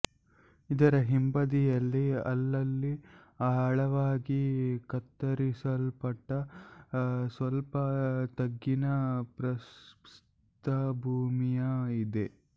ಇದರ ಹಿಂಬದಿಯಲ್ಲಿ ಅಲ್ಲಲ್ಲಿ ಆಳವಾಗಿ ಕತ್ತರಿಸಲ್ಪಟ್ಟ ಸ್ವಲ್ಪ ತಗ್ಗಿನ ಪ್ರಸ್ಥಭೂಮಿಯ ಇದೆ